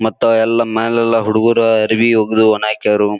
ಮತ್ತ ಎಲ್ಲ ಮೇಲೆಲ್ಲಾ ಹುಡುಗರು ಅರಬಿ ಒಗೆದು ಒಣ ಹಾಕ್ಯರು.